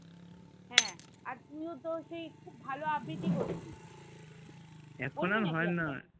হ্যাঁ আর তুই ও তো সেই খুব ভালো আবৃতি করতিস